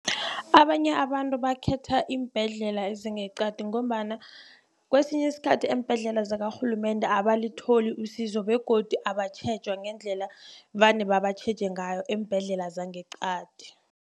Abanye abantu bakhetha iimbhedlela ezingeqadi ngombana kwesinye isikhathi eembhedlela zakarhulumende abalitholi usizo begodu abatjhejwa ngendlela vane babatjheje ngayo eembhedlela zangeqadi.